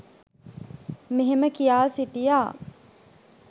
මෙහෙම කියා සිටියා.